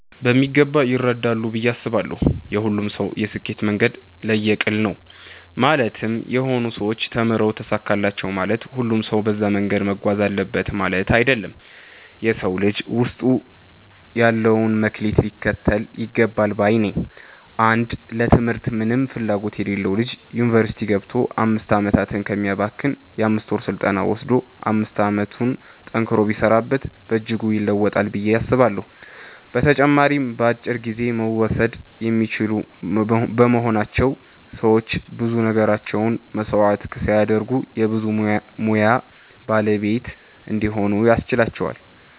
በሚገባ ይረዳሉ ብዬ አስባለው። የሁሉም ሰው የስኬት መንገድ ለየቅል ነው ማለትም የሆኑ ሰዎች ተምረው ተሳካላቸው ማለት ሁሉም ሰው በዛ መንገድ መጓዝ አለበት ማለት አይደለም። የ ሰው ልጅ ውስጡ ያለውን መክሊት ሊከተል ይገባል ባይ ነኝ። አንድ ለ ትምህርት ምንም ፍላጎት የሌለው ልጅ ዩኒቨርስቲ ገብቶ 5 አመታትን ከሚያባክን የ 5ወር ስልጠና ወሰዶ 5 አመቱን ጠንክሮ ቢሰራበት በእጅጉ ይለወጣል ብዬ አስባለሁ። በተጨማሪም በአጭር ጊዜ መወሰድ የሚችሉ በመሆናቸው ሰዎች ብዙ ነገራቸውን መስዋዕት ሳያደርጉ የ ብዙ ሙያ ባለቤት እንዲሆኑ ያስችላቸዋል።